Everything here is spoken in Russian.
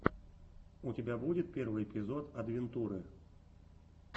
у тебя будет первый эпизод адвентуры